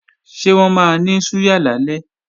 Ṣé wọ́n máa ní súyà lálẹ́?